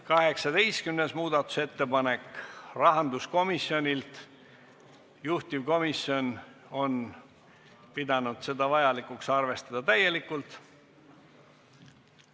18. muudatusettepanek rahanduskomisjonilt, juhtivkomisjon on pidanud vajalikuks arvestada seda täielikult.